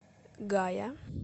гая